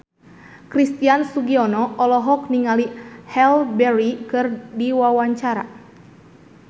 Christian Sugiono olohok ningali Halle Berry keur diwawancara